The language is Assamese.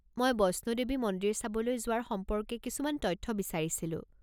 মই বৈষ্ণোদেৱী মন্দিৰ চাবলৈ যোৱাৰ সম্পৰ্কে কিছুমান তথ্য বিচাৰিছিলোঁ।